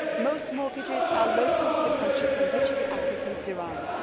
Most mortgages are local to the country from which the applicant derives.